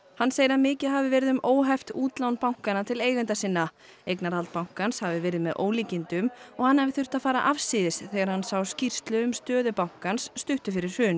hann segir að mikið hafi verið um óheft útlán bankanna til eigenda sinna eignarhald bankans hafi verið með ólíkindum og hann hafi þurft að fara afsíðis þegar hann sá skýrslu um stöðu bankans stuttu fyrir hrun